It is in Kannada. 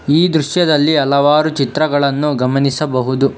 ಈ ಚಿತ್ರದಲ್ಲಿ ಹಲವಾರು ದೃಶ್ಯಗಳನ್ನು ಗಮನಿಸಬಹುದು.